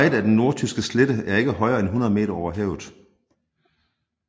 Meget af den Nordtyske Slette er ikke højere end 100 meter over havet